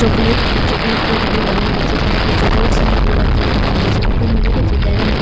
chocolate भी chocolate cake भी बनाल जाय छै जेकरा कि चॉकलेट से ही पूरा केक बनाल जाय छै ऊपर में देखे छै डेयरी मिल्क --